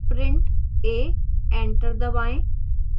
print a enter दबाएं